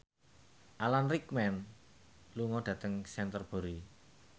Alan Rickman lunga dhateng Canterbury